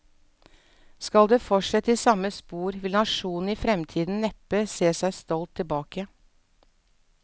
Skal det fortsette i samme spor, vil nasjonen i fremtiden neppe se seg stolt tilbake.